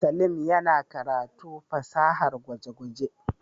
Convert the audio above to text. Saleem yana karatu fasahar gwaje-gwaje.